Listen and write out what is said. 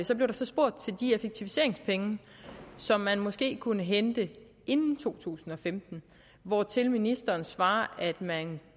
så blev der spurgt til de effektiviseringspenge som man måske kunne hente inden to tusind og femten hvortil ministeren svarede at man